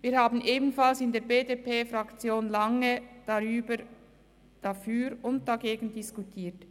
Wir haben in der BDP-Fraktion lange das Für und Wider diskutiert.